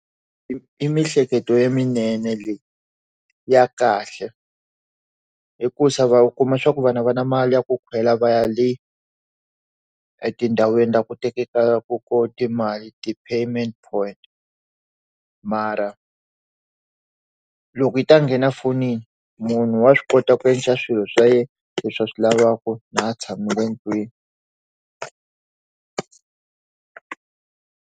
I miehleketo le minene leyi ya kahle hi ku swa va kuma swa ku vana va na mali ya ku khela va ya le etindhawini ta ku teka ku ko timali ti payment kona mara loko yi ta ngena fonini munhu wa swi kota ku endla swilo swa yena leswi va swi lavaka na tshamile endlwini.